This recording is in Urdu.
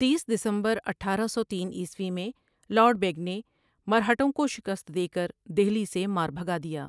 تیس؍دسمبر اٹھارہ سو تین عیسوی میں لارڈ بیگ نے مرہٹوں کو شکست دے کر دہلی سے مار بھگا دیا ۔